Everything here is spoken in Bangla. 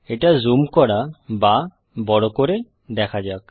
এটা জুম করা বা বড় করে দেখা যাক